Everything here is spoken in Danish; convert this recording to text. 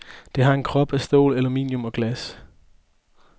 Det har en krop af stål, aluminium og glas.